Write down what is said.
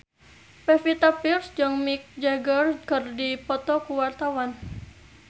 Pevita Pearce jeung Mick Jagger keur dipoto ku wartawan